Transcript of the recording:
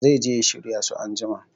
Zai je ya shirya su anjima